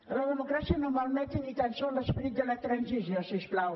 que la democràcia no malmeti ni tan sols l’esperit de la transició si us plau